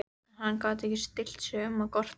En hann gat ekki stillt sig um að gorta.